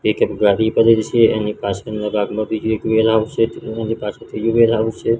એક એક ગાડી પડેલી છે એની પાછળના ભાગમાં બીજું એક વેન આવસે તેની પાછળ ત્રીજું વેન આવસે.